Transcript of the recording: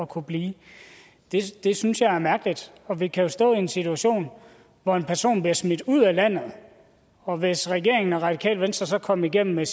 kunne blive det synes jeg er mærkeligt for vi kan jo stå i en situation hvor en person bliver smidt ud af landet og hvis regeringen og radikale venstre så kom igennem med